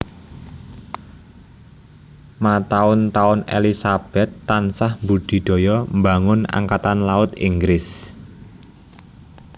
Mataun taun Elizabeth tansah mbudidaya mbangun Angkatan Laut Inggris